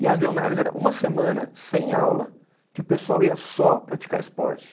E as leonárias era uma semana sem aula, que o pessoal ia só praticar esporte.